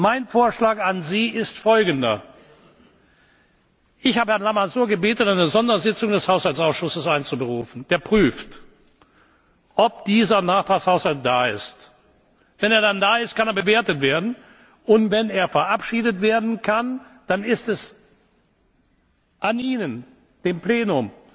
Mein Vorschlag an Sie ist Folgender Ich habe Herrn Lamassoure gebeten, eine Sondersitzung des Haushaltsausschusses einzuberufen, der prüft, ob dieser Nachtragshaushalt da ist. Wenn er dann da ist, kann er bewertet werden, und wenn er verabschiedet werden kann, dann ist es an Ihnen, dem Plenum,